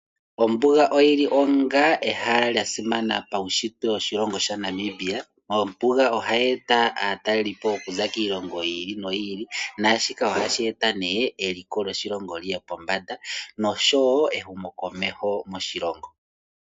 Ombuga oyili onga ehala lyasimana pawunshitwe woshilongo shaNamibia. Ombuga ohayi eta aatalelipo okuza kiilongo yili noyili nashika ohashi eta nee eliko lyoshilongo liye pombanda noshowo ehumo komesho moshilongo.